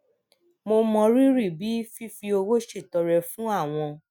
mo mọrírì bí fífi owó ṣètọrẹ fún àwọn